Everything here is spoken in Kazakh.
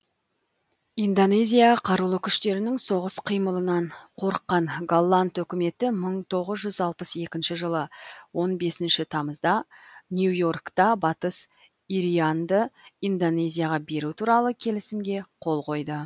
индонезия қарулы күштерінің соғыс қимылынан қорыққан голланд үкіметі мың тоғыз жүз алпыс екінші жылы он бесінші тамызда нью йоркта батыс ирианды индонезияға беру туралы келісімге қол қойды